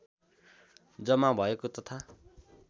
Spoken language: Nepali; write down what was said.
जम्मा भएको तथा